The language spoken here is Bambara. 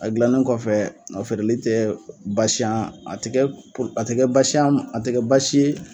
A dilannen kɔfɛ, a feereli tɛ basi ye an ma, a tɛ kɛ baasi a tɛ kɛ baasi ye